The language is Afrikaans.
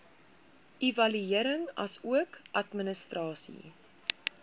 evaluering asook administrasie